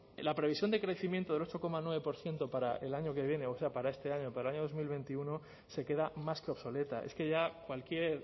la previsión de crecimiento del ocho coma nueve por ciento para el año que viene o sea para este año para el año dos mil veintiuno se queda más que obsoleta es que ya cualquier